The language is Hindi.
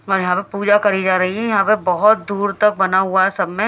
और यहां पे पूजा करी जा रही है यहां पे बहोत दूर तक बना हुआ है सब में--